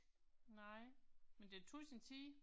Nej. Men det tog sin tid